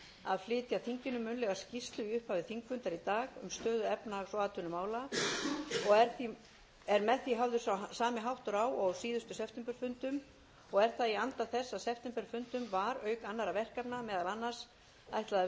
að flytja þinginu munnlega skýrslu í upphafi þingfundar í dag um stöðu efnahags og atvinnumála og er með því hafður sami háttur á og á síðustu septemberfundum er það í anda þess að septemberfundum var auk annarra verkefna meðal annars ætlað